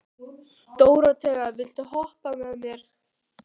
Dóróthea, viltu hoppa með mér?